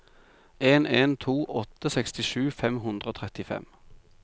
en en to åtte sekstisju fem hundre og trettifem